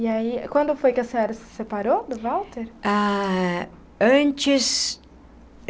E aí, quando foi que a senhora se separou do Walter? Ah antes.